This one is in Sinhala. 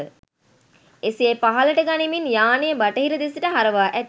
එසේ පහළට ගනිමින් යානය බටහිර දෙසට හරවා ඇත